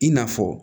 I n'a fɔ